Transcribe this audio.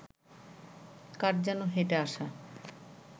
কার যেন হেঁটে আসা